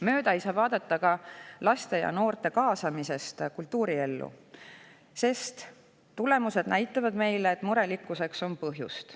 Mööda ei saa vaadata ka laste ja noorte kaasamisest kultuuriellu, sest tulemused näitavad meile, et murelikkuseks on põhjust.